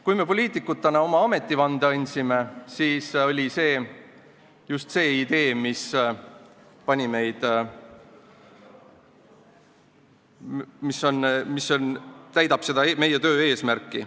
Kui me poliitikutena ametivande andsime, siis sai just sellest ideest see, mis hakkas täitma meie töö eesmärki.